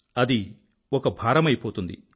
అది ఒక భారమైపోతుంది